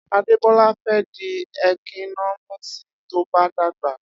Adebola fẹ di ékínọmísí, tọ bà dàgbá.